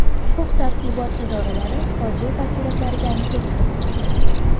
Huquq-tartibot idoralari fojia tafsilotlariga aniqlik kiritmoqda.